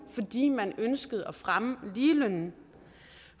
fordi man ønskede at fremme ligelønnen